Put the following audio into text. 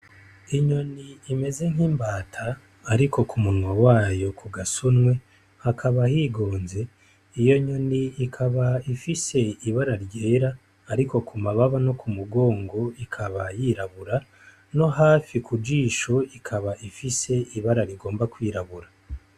Inyoni imeze nk'imbata, ariko ku munwa wayo ku gasunwe hakaba higonze, iyo nyon'ikab'ifis'ibara ryera ariko ku mababa no ku mugong'ikaba yirabura no hafi ku jish'ikab'ifis'ibara rigomba kwirabura.